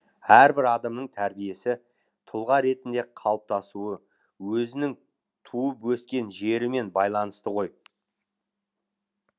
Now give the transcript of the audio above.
әрбір адамның тәрбиесі тұлға ретінде қалыптасуы өзінің туып өскен жерімен байланысты ғой